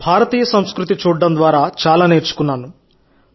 భారతదేశ సంస్కృతిని చూడటం ద్వారా చాలా నేర్చుకున్నాను